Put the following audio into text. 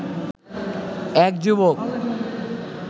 এক যুবক